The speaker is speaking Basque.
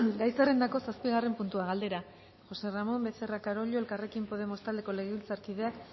gai zerrendako zazpigarren puntua galdera josé ramón becerra carollo elkarrekin podemos taldeko legebiltzarkideak